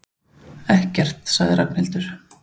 Ekkert sagði Ragnhildur.